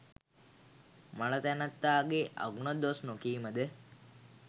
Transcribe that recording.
මළ තැනැත්තාගේ අගුණ දොස් නොකීමද